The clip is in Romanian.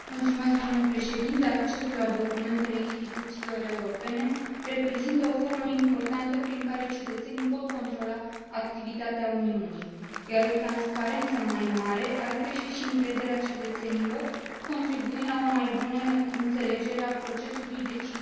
Accesul la documentele instituțiilor europene reprezintă o formă importantă prin care cetățenii pot controla activitatea Uniunii, iar o transparență mai mare ar crește și încrederea cetățenilor, contribuind la o mai bună înțelegere a procesului decizional european.